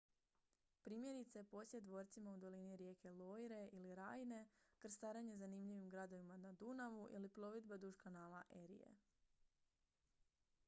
primjerice posjet dvorcima u dolini rijeke loire ili rajne krstarenje zanimljivim gradovima na dunavu ili plovidba duž kanala erie